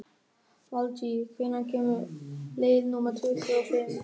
Valtýr, hvenær kemur leið númer tuttugu og fimm?